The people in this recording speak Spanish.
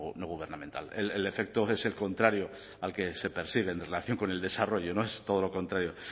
no gubernamental el efecto es el contrario al que se persigue en relación con el desarrollo es todo lo contrario